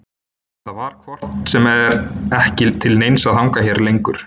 Það var hvort sem er ekki til neins að hanga hérna lengur.